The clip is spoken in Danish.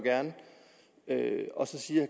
gerne så siger